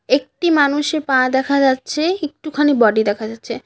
একটি মানুষের পা দেখা যাচ্ছে একটুখানি বডি দেখা যাচ্ছে।